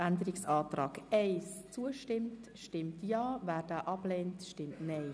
Wer dem Abänderungsantrag 1 zustimmt, stimmt Ja, wer diesen ablehnt, stimmt Nein.